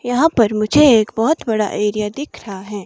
यहां पर मुझे एक बहुत बड़ा एरिया दिख रहा है।